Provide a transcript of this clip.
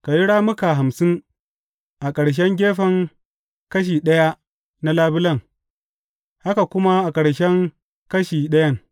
Ka yi rammuka hamsin a ƙarshen gefen kashi ɗaya na labulen, haka kuma a ƙarshen kashi ɗayan.